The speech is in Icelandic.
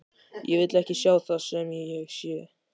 Ég vil ekki sjá það sem ég sé.